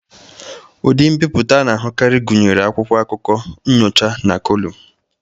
Ụdị mbipụta a na-ahụkarị gụnyere akwụkwọ akụkọ, nnyocha na kọlụm.